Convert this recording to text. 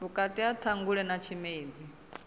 vhukati ha ṱhangule na tshimedzi